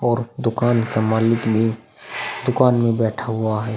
और दुकान का मालिक भी दुकान में बैठा हुआ है। .>